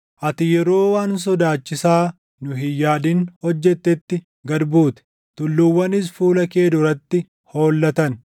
Ati yeroo waan sodaachisaa nu hin yaadin hojjettetti gad buute; tulluuwwanis fuula kee duratti hollatan.